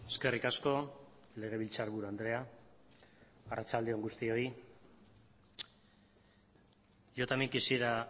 eskerrik asko legebiltzarburu andrea arratsalde on guztioi yo también quisiera a